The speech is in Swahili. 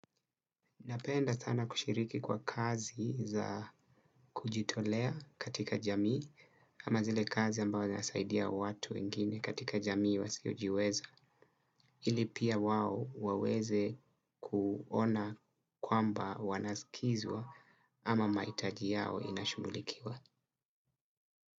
Napenda sana kushiriki kwa kazi za kujitolea katika jamii kama zile kazi ambao zinasaidia watu wengine katika jamii wasiojiweza. Ili pia wao waweze kuona kwamba wanasikizwa ama mahitaji yao inashughulikiwa.